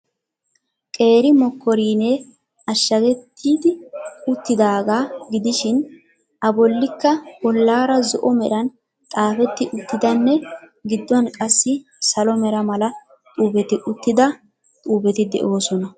Qeeri mokoriinee ashagettidi uttidaaga gidishiin a bollikka bollaara zo'o meran xaafetti uttidanne giduwaan qassi salo mera mala xaafetti uttida xuufetti de'oosona.